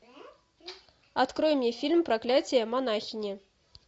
открой мне фильм проклятие монахини